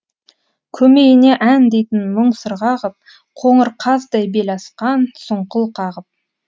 көмейіне ән дейтін мұң сырға ғып қоңыр қаздай бел асқан сұңқыл қағып